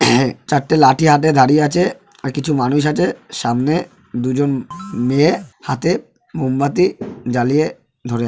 চারটে লাঠি হাতে দাঁড়িয়ে আছে আর কিছু মানুষ আছে সামনে দুজন মেয়ে হাতে মোমবাতি জ্বালিয়ে ধরে আছে ।